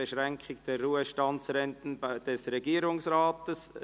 «Beschränkung der Ruhestandsrenten des Regierungsrats».